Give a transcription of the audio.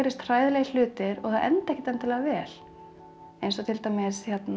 hræðilegir hlutir og þær enda ekkert endilega vel eins og til dæmis